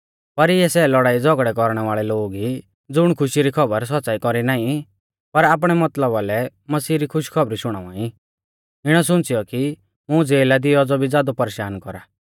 पर इऐ सै लौड़ाईझ़ौगड़ै कौरणै वाल़ै लोग ई ज़ुण खुशी री खौबर सौच़्च़ाई कौरी नाईं पर आपणै मतलबा लै मसीह री खुशखौबरी शुणावा ई इणौ सुंच़ीऔ कि मुं ज़ेला दी औज़ौ भी ज़ादौ परेशान कौरा